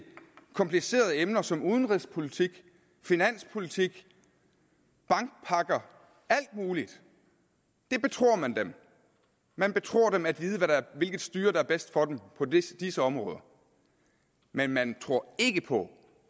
komplicerede emner som udenrigspolitik finanspolitik bankpakker alt muligt det betror man dem man betror dem at vide hvilket styre der er bedst for dem på disse disse områder men man tror ikke på